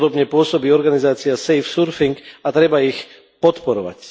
Podobne pôsobí organizácia Safe surfing, a treba ich podporovať.